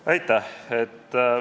Aitäh!